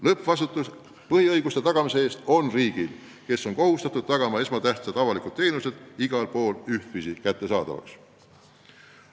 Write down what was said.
Lõppvastutus põhiõiguste tagamise eest on riigil, kes on kohustatud tagama, et esmatähtsad avalikud teenused on igal pool ühtviisi kättesaadavad.